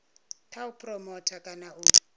kha u phuromotha kana u